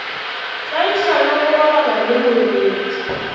tlaiša le go robala lemorwedi